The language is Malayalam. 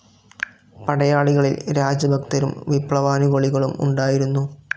പടയാളികളിൽ രാജഭക്തരും വിപ്ലവാനുകൂലികളും ഉണ്ടായിരുന്നു.